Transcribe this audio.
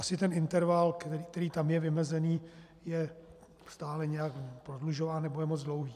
Asi ten interval, který tam je vymezený, je stále nějak prodlužován, nebo je moc dlouhý.